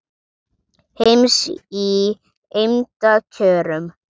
heims í eymda kjörum